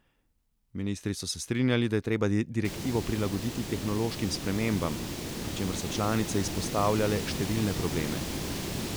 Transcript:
Ministri so se strinjali, da je treba direktivo prilagoditi tehnološkim spremembam, pri čemer so članice izpostavljale številne probleme.